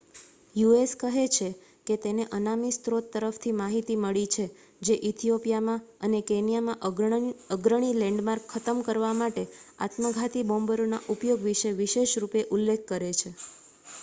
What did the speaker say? "US. કહે છે કે તેને અનામી સ્રોત તરફથી માહિતી મળી છે જે ઇથિઓપિઆમાં અને કેન્યામાં "અગ્રણી લૅન્ડમાર્ક" ખતમ કરવા માટે આત્મઘાતી બૉમ્બરોના ઉપયોગ વિશે વિશેષ રૂપે ઉલ્લેખ કરે છે.